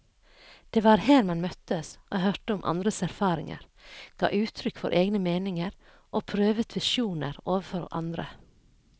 Det var her man møttes og hørte om andres erfaringer, ga uttrykk for egne meninger og prøvet visjoner overfor andre.